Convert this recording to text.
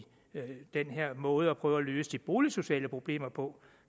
den her måde at prøve at løse de boligsociale problemer på